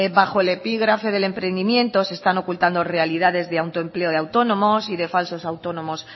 bajo el epígrafe del emprendimiento se están ocultando realidades de autoempleo de autónomos y de falsos autónomos